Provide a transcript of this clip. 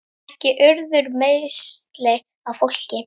Ekki urðu meiðsli á fólki.